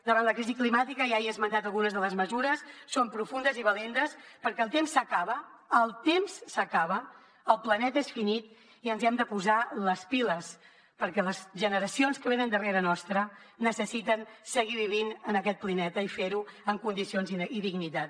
davant la crisi climàtica ja he esmentat algunes de les mesures són profundes i valentes perquè el temps s’acaba el temps s’acaba el planeta és finit i ens hem de posar les piles perquè les generacions que venen darrere nostre necessiten seguir vivint en aquest planeta i fer ho amb condicions i dignitat